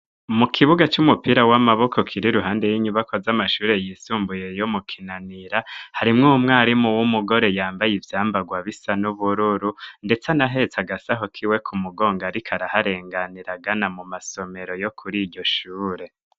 Mu kibuga c'umupira w'amaboko kiri iruhande y'inyibakwa z'amashuri yisumbuye yo mu Kinanira harimwo umwarimu w'umugore yambaye ivyambarwa bisa n'ubururu ndetse anahetse agasaho kiwe ku mugongo ariko araharenganira agana mu masomero yo kuriryo shure.